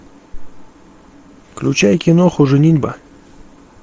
включай киноху женитьба